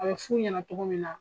A bɛ f'u ɲɛna cogo min na